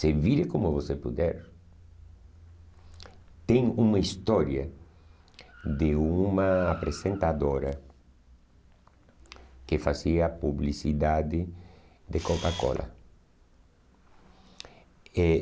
Se vire como você puder, tem uma história de uma apresentadora que fazia publicidade de Coca-Cola. Eh